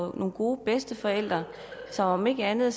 nogle gode bedsteforældre og om ikke andet